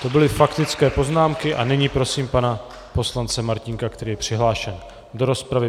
To byly faktické poznámky a nyní prosím pana poslance Martínka, který je přihlášen do rozpravy.